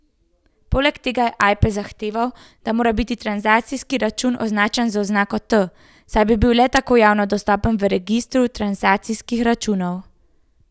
Poleg tega je Ajpes zahteval, da mora biti transakcijski račun označen z oznako T, saj bi bil le tako javno dostopen v registru transakcijskih računov.